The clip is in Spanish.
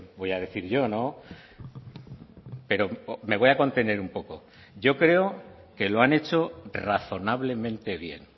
voy a decir yo no pero me voy a contener un poco yo creo que lo han hecho razonablemente bien